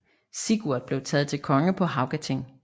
Sigurd blev taget til konge på Haugating